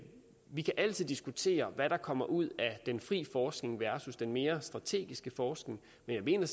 vi kan altid diskutere hvad der kommer ud af den frie forskning versus den mere strategiske forskning men jeg mener